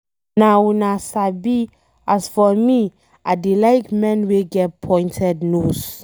Na una sabi. As for me I dey like men wey get pointed nose.